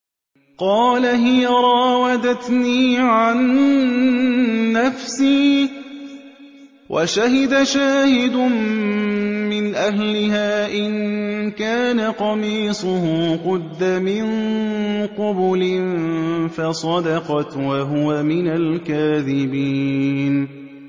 قَالَ هِيَ رَاوَدَتْنِي عَن نَّفْسِي ۚ وَشَهِدَ شَاهِدٌ مِّنْ أَهْلِهَا إِن كَانَ قَمِيصُهُ قُدَّ مِن قُبُلٍ فَصَدَقَتْ وَهُوَ مِنَ الْكَاذِبِينَ